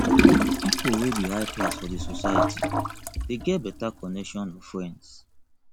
pipo wey be high class for di society de get better connection of friends